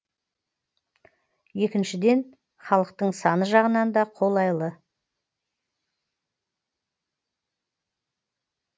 екіншіден халықтың саны жағынан да қолайлы